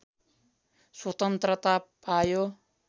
स्वतन्त्रता पायो